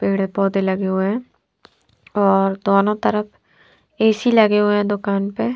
पेड़ पौधे लगे हुए है और दोनों तरफ ऐ_सी लगे हुए है दुकान पे --